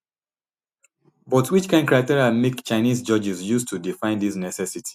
but which kain criteria make chinese judges use to define dis necessity